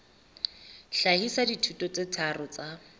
hlahisa dithuto tse tharo tsa